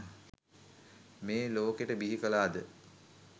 මේ ලෝකෙට බිහි කලා ද?